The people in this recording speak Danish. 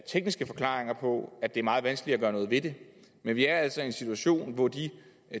tekniske forklaringer på at det er meget vanskeligt at gøre noget ved det men vi er altså i en situation hvor de